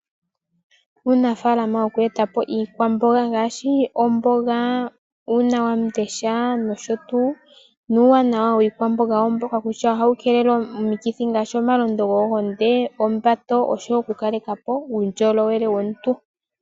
Uunafaalama woku eta po iikwamboga ngaashi omboga, uunawamundesha nosho tuu, nuuwanawa wiikwamboga owo mboka kutya ohawu keelele omikithi ngaashi omalondo goombinzi, ombato, oshowo okukaleka po uundjolowele womuntu.